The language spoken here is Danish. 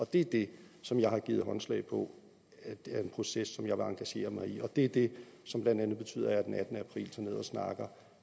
det er det som jeg har givet håndslag på er en proces som jeg vil engagere mig i og det er det som blandt andet betyder at jeg den attende april tager ned og snakker